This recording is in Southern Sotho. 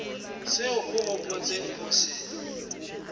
seo o hopotseng ho se